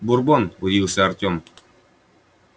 бурбон удивился артём